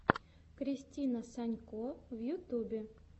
кристина санько в ютюбе